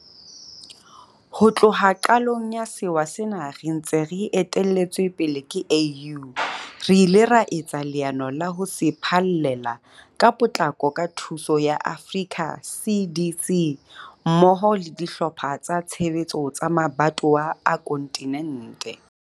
Ho tloha qalong ya sewa sena re ntse re etelletswe pele ke AU, re ile ra etsa leano la ho se phallela ka potlako ka thuso ya Africa CDC mmoho le dihlopha tsa tshebetso tsa mabatowa a kontinente.